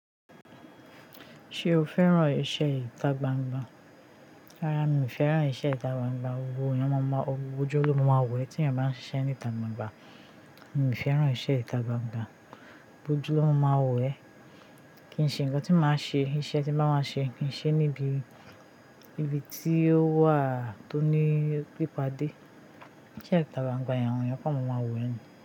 Ṣé o fẹ́ràn iṣẹ́ ìta gbangba? Rárá, mi ò fẹ́ràn iṣẹ́ ìta gbangba, gbogbo ọju ló má ma wọ e tí ènìyàn bá ń ṣe iṣẹ́ nìta gbangba. Mi ò fẹ́ràn iṣẹ́ ìta gbangba, gbogbo ojú ló máa wò e. Kì í ṣe ǹkan tí màá ṣe, iṣẹ́ tí ba máa ṣe, ki ṣe níbi tí ó wà tó ní pípadé. Iṣẹ́ ìta gbangba awọn eyàn ko má máa wò ẹ ni.